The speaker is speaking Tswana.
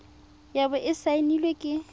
ya bo e saenilwe ke